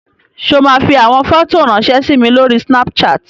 Ṣé o máa fi àwọn fọ́tò ráńṣẹ́ sí mi lórí Snapchat?